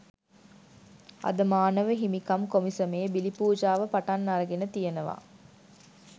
අද මානව හිමිකම් කොමිසමේ බිලිපූජාව පටන් අරගෙන තියෙනවා